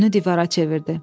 Yönünü divara çevirdi.